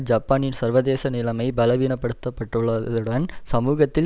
ஜப்பானின் சர்வதேச நிலைமை பலவீனப்பட்டுள்ளதுடன் சமூகத்தில்